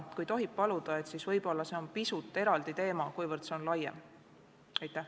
See on aga juba pisut eraldi küsimus ja laiem teema.